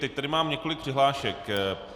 Teď tady mám několik přihlášek.